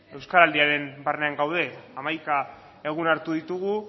euskaraldiaren barnean gaude hamaika egun hartu ditugu